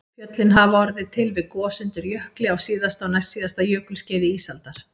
Fjöllin hafa orðið til við gos undir jökli á síðasta og næstsíðasta jökulskeiði ísaldar